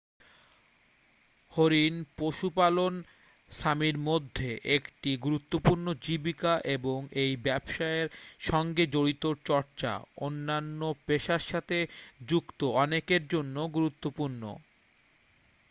হরিণ পশুপালন সামির মধ্যে একটি গুরুত্বপূর্ণ জীবিকা এবং এই ব্যবসার সঙ্গে জড়িত চর্চা অন্যান্য পেশার সাথে যুক্ত অনেকের জন্য গুরুত্বপূর্ণ